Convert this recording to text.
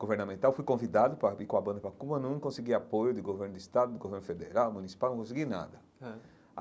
Governamental, fui convidado para ir com a banda para Cuba, não consegui apoio de governo de estado, de governo federal, municipal, não consegui nada ãh.